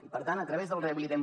i per tant a través del rehabilitem